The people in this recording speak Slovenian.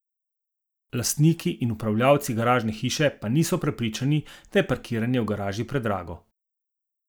Lastniki in upravljavci garažne hiše pa niso prepričani, da je parkiranje v garaži predrago.